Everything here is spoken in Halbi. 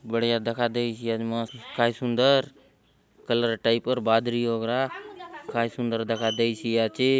बढ़िया दखा देयसि आचे मस्त काय सुन्दर कलर टाइप र बादरी वगैरा काय सुन्दर दखा देयसि आचे।